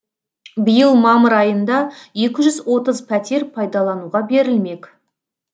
биыл мамыр айында екі жүз отыз пәтер пайдалануға берілмек